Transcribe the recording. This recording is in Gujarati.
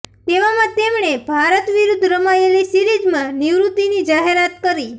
તેવામાં તેણે ભારત વિરુદ્ધ રમાયેલી સિરીઝમાં નિવૃતીની જાહેરાત કરી